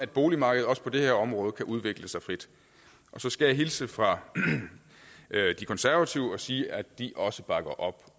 boligmarkedet også på det her område kan udvikle sig frit så skal jeg hilse fra de konservative og sige at de også bakker op